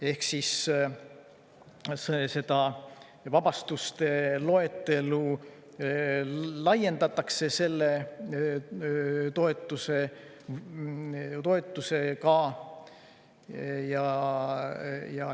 Ehk seda vabastuste loetelu laiendatakse selle toetusega.